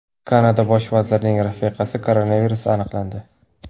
Kanada bosh vazirining rafiqasida koronavirus aniqlandi.